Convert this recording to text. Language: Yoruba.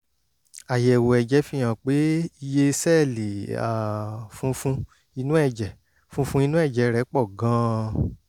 àyẹ̀wò ẹ̀jẹ̀ fihàn pé iye sẹ́ẹ̀lì um funfun inú ẹ̀jẹ̀ funfun inú ẹ̀jẹ̀ rẹ pọ̀ gan-an